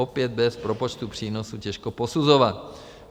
Opět bez propočtu přínosu, těžko posuzovat.